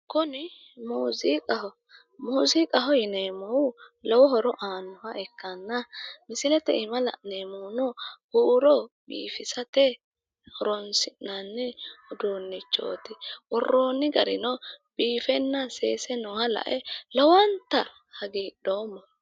kuni muziiqaho muziiqaho yineemmohu lowo horo aannoha ikkanna misilete aana la'neemmohuno huuro biifisate horonsi'nanni uduunnichooti worroonni garino biifenna seese nooha lae lowonta hagiidhoomma.